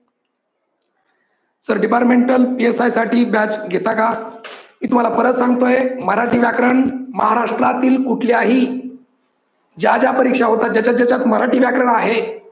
sir departmental PSI साठी batch घेता का? मी तुम्हाला परत सांगतो आहे मराठी व्याकरण महाराष्ट्रातील कुठल्याही ज्या ज्या परीक्षा होतात जाच्या जाच्यात मराठी व्याकरण आहे